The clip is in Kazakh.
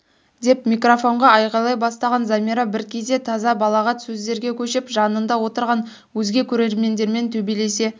деп микрофонға айғайлай бастаған замира бір кезде таза балағат сөздерге көшіп жанында отырған өзге көрермендермен төбелесе